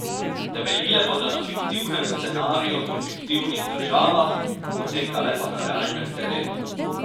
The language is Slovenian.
Temeljile bodo na fiktivnem scenariju in fiktivnih državah, potekale pa na realnem terenu.